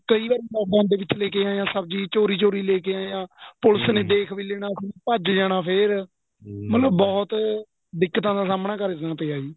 ਕਈ ਵਾਰੀ lockdownਦੇ ਵਿੱਚ ਲੈਕੇ ਆਇਆ ਸਬਜ਼ੀ ਚੋਰੀ ਚੋਰੀ ਲੈਕੇ ਆਇਆ ਦੇਖ ਵੀ ਲੈਣਾ ਸੀ ਭੱਜ ਜਾਣਾ ਫ਼ੇਰ ਮਤਲਬ ਬਹੁਤ ਦਿੱਕਤਾਂ ਦਾ ਸਾਹਮਣਾ ਕਰਨਾ ਪਇਆ ਜੀ